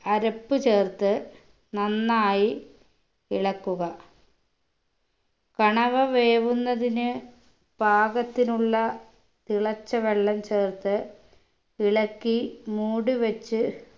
അരപ്പ് ചേർത്ത് നന്നായി ഇളക്കുക കണവ വേവുന്നതിന് പാകത്തിനുള്ള തിളച്ച വെള്ളം ചേർത്ത് ഇളക്കി മൂടിവെച്ച്